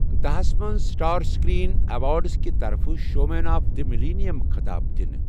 داہ ہس منٛز سٕٹار سٕکریٖن ایوارڈز کہِ طرفہٕ 'Showman of the Millennium' خٕطاب دِنہٕ۔